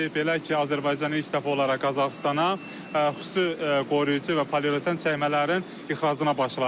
Belə ki, Azərbaycan ilk dəfə olaraq Qazaxıstana xüsusi qoruyucu və polireten çəkmələrin ixracına başlayır.